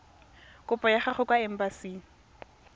kopo ya gago kwa embasing